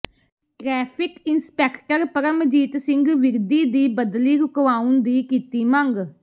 traffic inspector Paramjit Singh Virdi ਦੀ ਬਦਲੀ ਰੁਕਵਾਉਣ ਦੀ ਕੀਤੀ ਮੰਗ